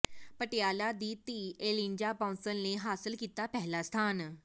ਪਟਿਆਲਾ ਦੀ ਧੀ ਏਲਿਜਾ ਬਾਂਸਲ ਨੇ ਹਾਸਲ ਕੀਤਾ ਪਹਿਲਾ ਸਥਾਨ